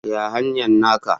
Ya hanyar naka?